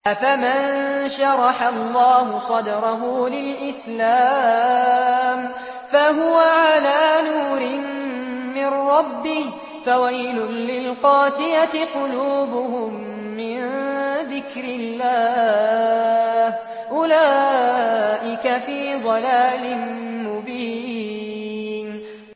أَفَمَن شَرَحَ اللَّهُ صَدْرَهُ لِلْإِسْلَامِ فَهُوَ عَلَىٰ نُورٍ مِّن رَّبِّهِ ۚ فَوَيْلٌ لِّلْقَاسِيَةِ قُلُوبُهُم مِّن ذِكْرِ اللَّهِ ۚ أُولَٰئِكَ فِي ضَلَالٍ مُّبِينٍ